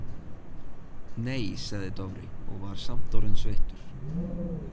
Nei, sagði Dofri og var samt orðinn sveittur.